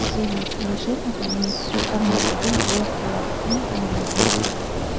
Demak, Alisher akaning himmatiga guvoh bo‘ladigan kunimiz yaqin.